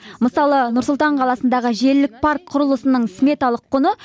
мысалы нұр сұлтан қаласындағы желілік парк құрылысының сметалық құны